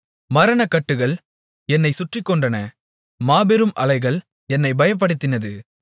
மரணக்கட்டுகள் என்னைச் சுற்றிக்கொண்டன மாபெரும் அலைகள் என்னைப் பயப்படுத்தினது